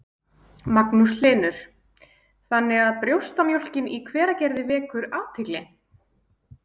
Magnús Hlynur: Þannig að brjóstamjólkin í Hveragerði vekur athygli?